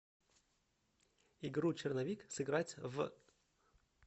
игру черновик сыграть в